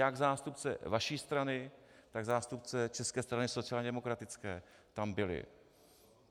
Jak zástupce vaší strany, tak zástupce České strany sociálně demokratické tam byli.